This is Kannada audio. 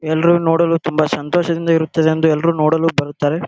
ಎಲ್ಲರು ನೋಡಲು ತುಂಬಾ ಸಂತೋಷದಿಂದ ಇರುತ್ತದೆ ಎಂದು ಎಲ್ಲರು ನೋಡಲು ಬರುತ್ತಾರೆ.